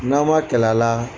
N'a ma kɛlɛ a la